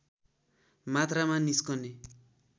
मात्रामा निस्कने